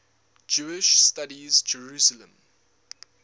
jewish studies jerusalem